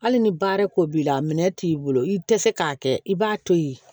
Hali ni baara ko b'i la minɛn t'i bolo i tɛ se k'a kɛ i b'a to yen